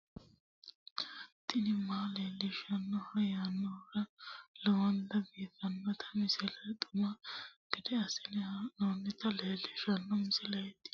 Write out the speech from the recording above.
tini maa leelishshanno yaannohura lowonta biiffanota misile xuma gede assine haa'noonnita leellishshanno misileeti kaameru danchunni haa'noonni lamboe biiffe leeeltannoqolten lowonta baxissannoe halchishshanno yaate